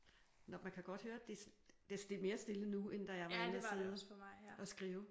Nå man kan godt høre det er mere stille nu end da jeg var inde og sidde og skrive